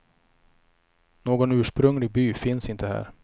Någon ursprunglig by finns inte här.